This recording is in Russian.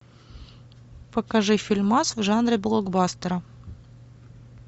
покажи фильмас в жанре блокбастера